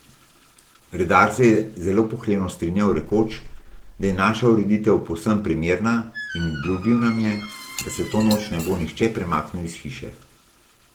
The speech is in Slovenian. Redar se je zelo pohlevno strinjal, rekoč, da je naša ureditev povsem primerna, in obljubil nam je, da se to noč ne bo nihče premaknil iz hiše.